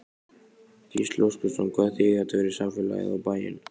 Gísli Óskarsson: Hvað þýðir þetta fyrir samfélagið, og bæinn?